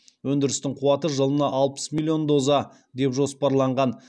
өндірістің қуаты жылына алпыс миллион доза деп жоспарланған